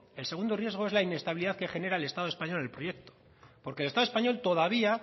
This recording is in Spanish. el segundo riesgo es la inestabilidad que genera el estado español en el proyecto porque el estado español todavía